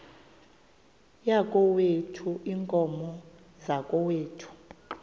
yakokwethu iinkomo zakokwethu